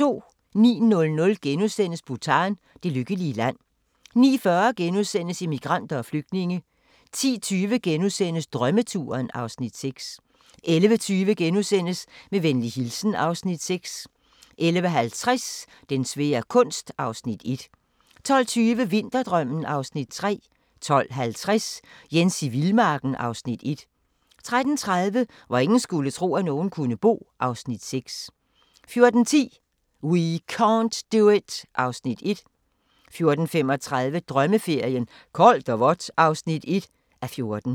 09:00: Bhutan: Det lykkelige land * 09:40: Immigranter og flygtninge * 10:20: Drømmeturen (Afs. 6)* 11:20: Med venlig hilsen (Afs. 6)* 11:50: Den svære kunst (Afs. 1) 12:20: Vinterdrømmen (Afs. 3) 12:50: Jens i vildmarken (Afs. 1) 13:30: Hvor ingen skulle tro, at nogen kunne bo (Afs. 6) 14:10: We can't do it (Afs. 1) 14:35: Drømmeferien: Koldt og vådt (1:14)